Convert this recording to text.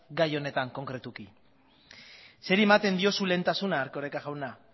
gai honetan konkretuki zeri ematen diozu lehentasuna erkoreka jauna